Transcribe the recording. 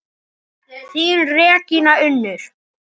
Þín Regína Unnur.